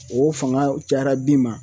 O fanga cayara bin ma